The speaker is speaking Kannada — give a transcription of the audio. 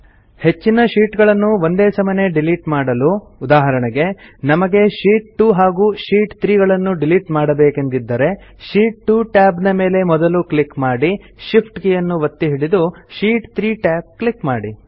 ಹೆಚ್ಚಿನ ಶೀಟ್ ಗಳನ್ನು ಒಂದೇ ಸಮನೆ ಡಿಲಿಟ್ ಮಾಡಲು ಉದಾಹರಣೆಗೆ ನಮಗೆ ಶೀಟ್ 2 ಹಾಗೂ ಶೀಟ್ 3 ಗಳನ್ನು ಡಿಲಿಟ್ ಮಾಡಬೇಕೆಂದಿದ್ದರೆ ಶೀಟ್ 2 tab ಮೇಲೆ ಮೊದಲು ಕ್ಲಿಕ್ ಮಾಡಿ ಶಿಫ್ಟ್ ಕೀಯನ್ನು ಒತ್ತಿ ಹಿಡಿದು ಶೀಟ್ 3 tab ಕ್ಲಿಕ್ ಮಾಡಿ